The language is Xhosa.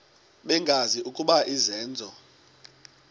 bengazi ukuba izenzo